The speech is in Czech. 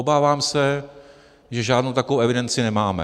Obávám se, že žádnou takovou evidenci nemáme.